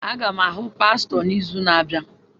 Aga m ahụ pastọ n'izu na-abịa.